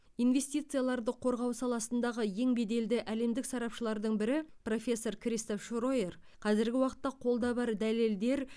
инвестицияларды қорғау саласындағы ең беделді әлемдік сарапшылардың бірі профессор кристоф шройер қазіргі уақытта қолда бар дәлелдер